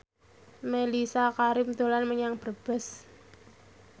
Mellisa Karim dolan menyang Brebes